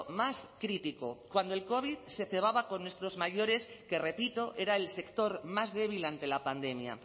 más crítico cuando el covid se cebaba con nuestros mayores que repito era el sector más débil ante la pandemia